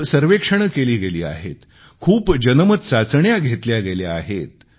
खूप सारी सर्वेक्षणे केली गेली आहेत खूप साऱ्या जनमत चाचण्या घेतल्या गेल्या आहेत